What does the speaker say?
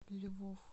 львов